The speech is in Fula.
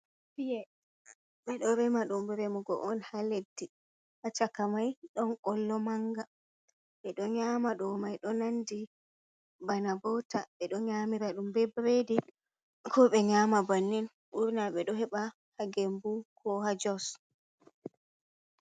Per ɓe ɗo rema ɗum remugo on ha leddi, ha chaka mai don kollo manga be do nyama do mai do nandi bana bota, ɓe ɗo nyamira ɗum be bredi ko be nyama bannin, burna be do heba ha gembu ko ha jos.